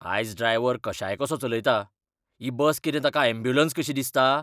आयज ड्रायव्हर कशायकसो चलयता. ही बस कितें ताका ऍम्ब्युलंस कशी दिसता?